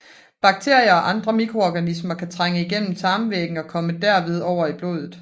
Bakterier og andre mikroorganismer kan trænge igennem tarm væggen og kommer derved over i blodet